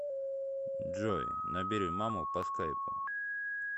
джой набери маму по скайпу